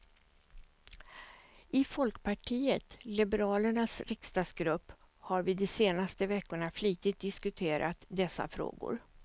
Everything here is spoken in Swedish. I folkpartiet liberalernas riksdagsgrupp har vi de senaste veckorna flitigt diskuterat dessa frågor.